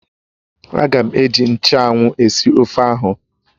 Ága m eji nchụ́anwu esi ofe ahụ